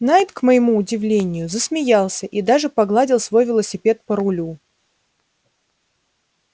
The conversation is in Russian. найт к моему удивлению засмеялся и даже погладил свой велосипед по рулю